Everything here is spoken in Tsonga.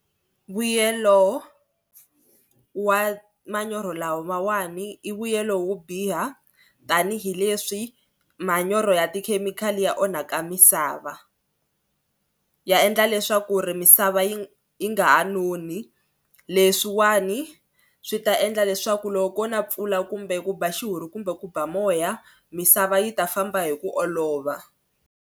Vuyelo wa manyoro lawawani i vuyelo wo biha tanihileswi manyoro ya tikhemikhali ya onhaka misava. Ya endla leswaku ri misava yi yi nga ha noni leswiwani swi ta endla leswaku loko ko na mpfula kumbe ku ba xihuhuri kumbe ku ba moya misava yi ta famba hi ku olova.